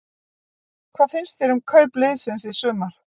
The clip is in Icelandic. Hvað finnst þér um kaup liðsins í sumar?